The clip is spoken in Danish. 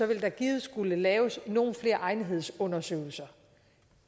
vil der givet skulle laves nogle flere egnethedsundersøgelser